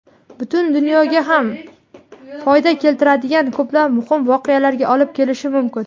butun dunyoga ham foyda keltiradigan ko‘plab muhim voqealarga olib kelishi mumkin.